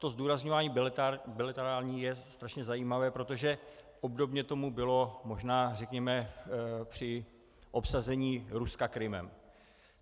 To zdůrazňování "bilaterální" je strašně zajímavé, protože obdobně tomu bylo možná, řekněme, při obsazení Ruska Krymem .